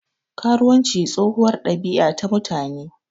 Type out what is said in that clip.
Karuwanci tsohuwar ɗabiya ta mutane.